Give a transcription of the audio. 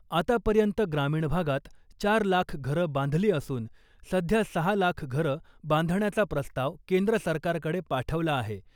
आतापर्यंत ग्रामीण भागात चार लाख घरं बांधली असून , सध्या सहा लाख घरं बांधण्याचा प्रस्ताव केंद्र सरकारकडे पाठवला आहे .